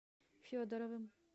федоровым